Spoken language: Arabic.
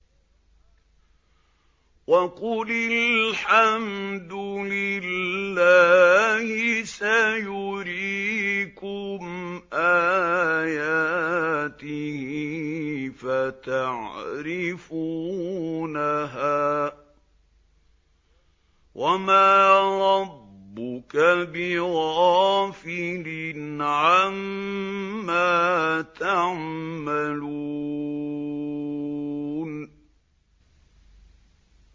وَقُلِ الْحَمْدُ لِلَّهِ سَيُرِيكُمْ آيَاتِهِ فَتَعْرِفُونَهَا ۚ وَمَا رَبُّكَ بِغَافِلٍ عَمَّا تَعْمَلُونَ